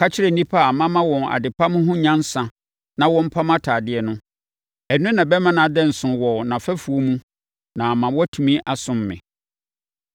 Ka kyerɛ nnipa a mama wɔn adepam ho nyansa na wɔmpam atadeɛ no. Ɛno na ɛbɛma ne ho ada nso wɔ nʼafɛfoɔ mu na ama watumi asom me.